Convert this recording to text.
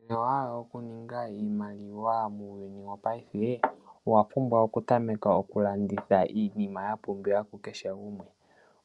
Inohala oku ninga iimaliwa muuyuni wo paife ? Owa pumbwa okutameka okulanditha iinima ya pumbiwa ku keshe gumwe